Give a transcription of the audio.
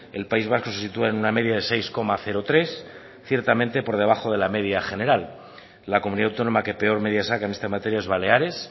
el país vasco se sitúa en una media de seis coma tres ciertamente por debajo de la media general la comunidad autónoma que peor media saca en esta materia es baleares